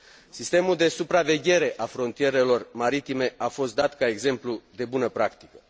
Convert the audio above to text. Sistemul de supraveghere a frontierelor maritime a fost dat ca exemplu de bună practică.